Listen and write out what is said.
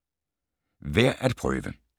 Værd at prøve: